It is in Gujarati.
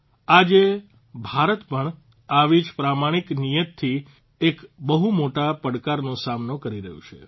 આજે ભારત પણ આવી જ પ્રમાણિક નિયતથી જ એક બહુ મોટા પડકારનો સામનો કરી રહ્યું છે